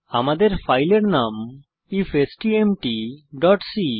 আমাদের ফাইলের নাম ifstmtসি